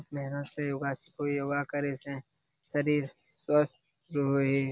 मेहनत से योगा से कोई योगा करे से शरीर स्वस्थ रोए ए --